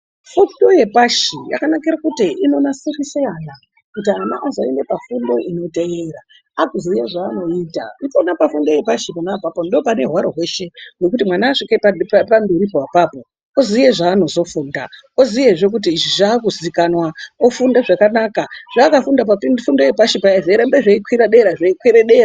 Fundo yepashi yakanakire kuti inonasirise ana kuti ana azoende pafundo inoteera aakuziye zvaanoita ipona pafundo yepashi pona papo ndipo pane hwaro weshe nekuti mwana asvike pamberi pona apapo oziye zvaanozofunda, oziyezve kuti izvi zvaakuzikanwa ofunde zvakanaka zvaakafunde pafundo yepashi paya zveirambe zveikwire dera zveikwire dera.